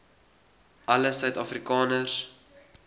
alle suid afrikaners